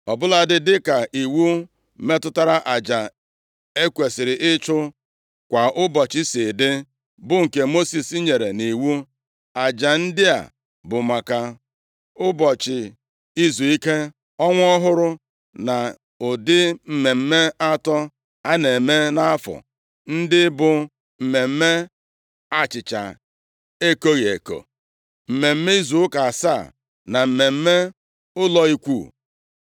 ọbụladị dịka iwu metụtara aja e kwesiri ịchụ kwa ụbọchị si dị, bụ nke Mosis nyere nʼiwu. Aja ndị a bụ maka Ụbọchị Izuike, Ọnwa Ọhụrụ na ụdị mmemme atọ a na-eme nʼafọ, ndị bụ mmemme achịcha ekoghị eko, mmemme izu ụka asaa na mmemme ụlọ Ikwu.